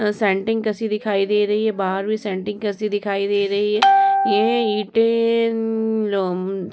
सैनटिंग कैसी दिखाई दे रही है। बाहर भी सैनटिंग कैसी दिखाई दे रही है। ये ईटे लोम--